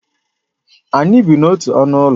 Anyị bi n'otu ọnụ ụlọ